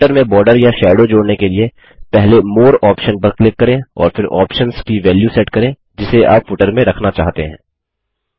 footer में border या shadow जोड़ने के लिए पहले मोरे ऑप्शन पर क्लिक करें और फिर ऑप्शन्स की वेल्यू सेट करें जिसे आप फुटर में रखना चाहते हैं